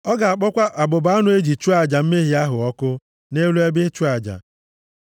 Ọ ga-akpọkwa abụba anụ e ji chụọ aja mmehie ahụ ọkụ nʼelu ebe ịchụ aja.